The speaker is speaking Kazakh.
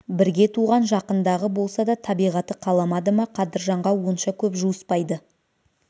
бірге туған жақындағы болса да табиғаты қаламады ма қадыржанға онша көп жуыспайды